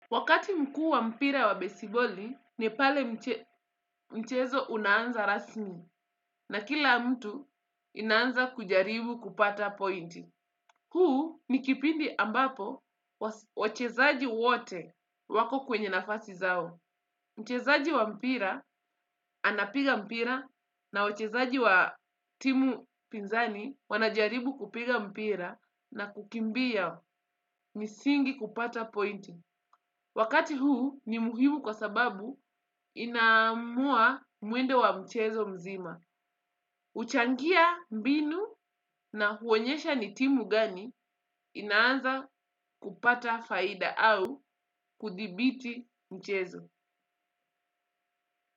Wakati mkuu wa mpira wa besiboli ni pale mchezo unaanza rasmi na kila mtu inanza kujaribu kupata point. Huu ni kipindi ambapo wachezaji wote wako kwenye nafasi zao. Mchezaji wa mpira anapiga mpira na wachezaji wa timu pinzani wanajaribu kupiga mpira na kukimbia msingi kupata pointi. Wakati huu ni muhimu kwa sababu inaamua mwendo wa mchezo mzima. Uchangia mbinu na huonyesha ni timu gani inaanza kupata faida au kudhibiti mchezo.